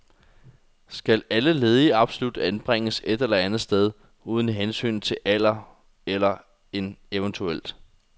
Skal alle ledige absolut anbringes et eller andet sted, uden hensyn til alder eller en evt.